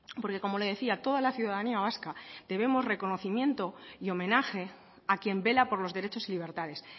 porque como le decía toda la ciudadanía vasca debemos reconocimiento y homenaje a quien vela por los derechos y libertades